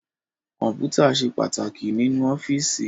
Kọ́mpútà ṣe pàtàkì nínú ọ́fíìsì